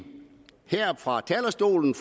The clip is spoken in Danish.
her fra talerstolen